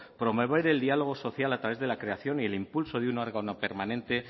promover el diálogo social a través de la creación y el impulso de un órgano permanente